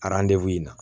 in na